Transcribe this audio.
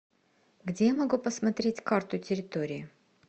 где я могу посмотреть карту территории